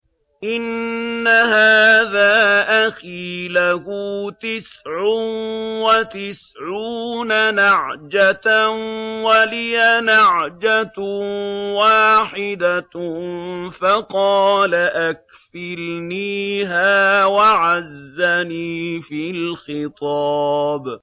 إِنَّ هَٰذَا أَخِي لَهُ تِسْعٌ وَتِسْعُونَ نَعْجَةً وَلِيَ نَعْجَةٌ وَاحِدَةٌ فَقَالَ أَكْفِلْنِيهَا وَعَزَّنِي فِي الْخِطَابِ